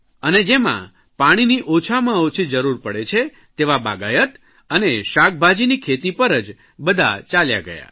અને જેમાં પાણીની ઓછામાં ઓછી જરૂર પડે છે તેવા બાગાયત અને શાકભાજીની ખેતી પર જ બધા ચાલ્યા ગયા